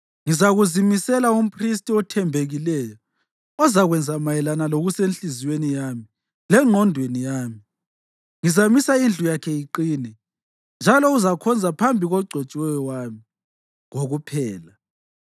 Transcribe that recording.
Ngizakuzimisela umphristi othembekileyo ozakwenza mayelana lokusenhliziyweni yami lengqondweni yami. Ngizamisa indlu yakhe iqine, njalo uzakhonza phambi kogcotshiweyo wami kokuphela.